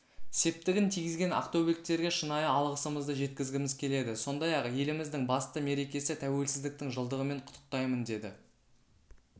септігін тигізген ақтөбеліктерге шынайы алғысымызды жеткізгіміз келеді сондай-ақ еліміздің басты мерекесі тәуелсіздіктің жылдығымен құттықтаймын деді